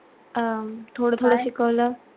अं थोडं थोडं शिकवलं.